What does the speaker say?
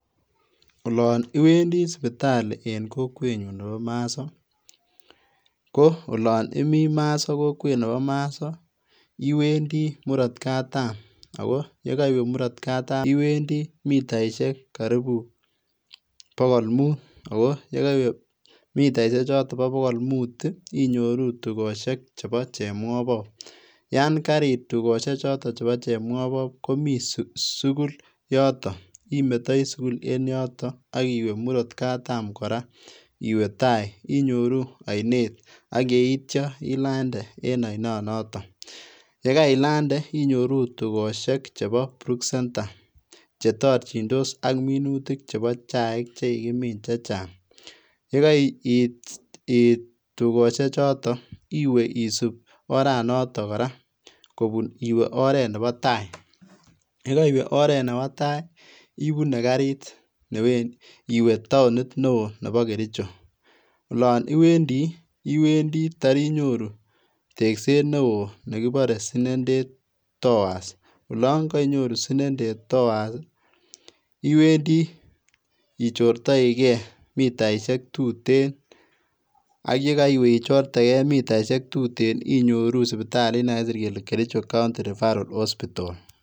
Olon iwendi sipitali en kokwenyun nepo Maso, ko olon in Maso kokwet nepo Maso iwendi murot katam ako yekoiwee murot katam, iwendi mitaisiek karibu bogol mut ako ye koiwe mitaisie choto bogol mut inyoru tukosiek chepo Chepmwopop yaan karit tukosiek choton chepo Chepmwopop komii sugul yoton imetoi sugul en yoto akiwe murot katam kora iwee tai inyoru ainet ak yetyo ilande en ainonoto yekailande inyoru tukosiek chepo Brookcentre chetorchindos ak minutik chepo chaik chekikimin chechang yekait tukosiechoto iwee isip oranoto kora kopun iwe oret nepo tai yekoiwee oret nebo tai ipunee karit iwe taonit neo nepo Kericho olon iwendi, iwendit torinyoru tekset neo nekipore Sinendet towers olon kainyoru Sinendet towers iwendi ichortoike mitaisiek tuten ak yekoiwe ichortekee mitaisiek tuten inyoru sipitalit nekakisir kele Kericho County Referral Hospital.